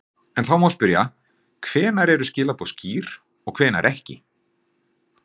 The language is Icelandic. En þá má spyrja, hvenær eru skilaboð skýr og hvenær ekki?